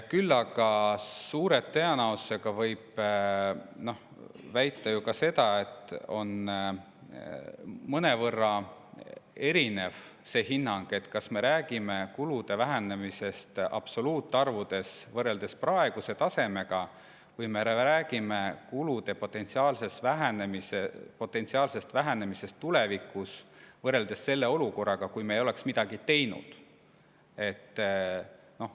Samas võib suure tõenäosusega väita ka seda, et hinnang on mõnevõrra erinev sellest, kas me räägime kulude vähenemisest absoluutarvudes võrreldes praeguse tasemega või me räägime kulude potentsiaalsest vähenemisest tulevikus võrreldes selle olukorraga, kui me ei oleks midagi teinud.